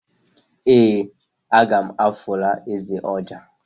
ee, a ga m afụra eze ọjà.